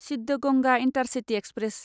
Siddaganga intercity express